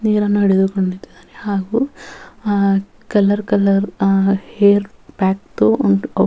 ನೀರ ನಡುವೆ ಕುಂತಿದ್ದಾರೆ ಹಾಗು ಆ ಕಲರ್ ಕಲರ್ ಆ ಹೇರ್ .]